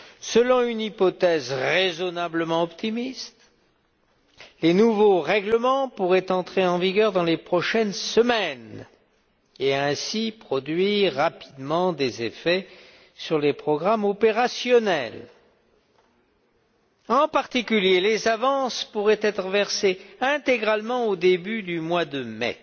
Selon une hypothèse raisonnablement optimiste, les nouveaux règlements pourraient entrer en vigueur dans les prochaines semaines, et ainsi produire rapidement des effets sur les programmes opérationnels. Les avances, en particulier, pourraient être versées intégralement au début du mois de mai.